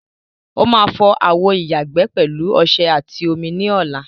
Ó máa fọ àwo ìyàgbẹ́ pẹ̀lú ọṣẹ àti omi ní ọla.